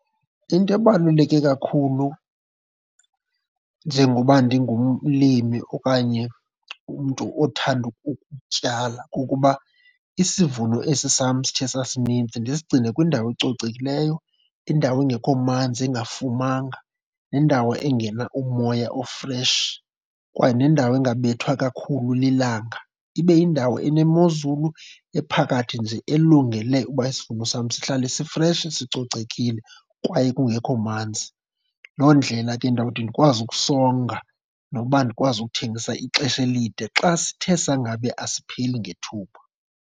Into ebaluleke kakhulu njengoba ndingumlimi okanye umntu othanda ukutyala kukuba isivuno esi sam sithe sasininzi ndisigcine kwindawo ecocekileyo, indawo engekho manzi engafumanga nendawo engena umoya ofreshi kwaye nendawo engabethwa kakhulu lilanga. Ibe yindawo enezulu ephakathi nje elungele ukuba isivuno sam sihlale sifresh sicocekile kwaye kungekho manzi. Loo ndlela ke ndawuthi ndikwazi ukusonga nokuba ndikwazi ukuthengisa ixesha elide xa sithe sangabe asipheli ngethuba.